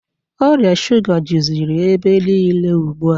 Ọrịa shuga jụziri ebe niile ugbu a.